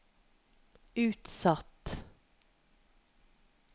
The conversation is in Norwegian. utsatt